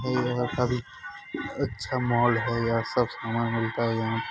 मरे यहां का भी अच्छा मॉल है। यहां सब सामान मिलता है यहां पर --